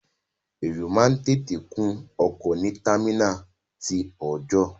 Èrò máa ń tètè kún ọkọ̀ ní támínàlí ti ọọ̀jọ́.